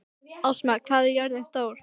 Ásmar, hvað er jörðin stór?